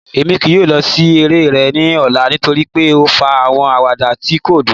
Emi kii yoo lọ si ere rẹ ni ọla nitori pe o fa awọn awada ti ko dun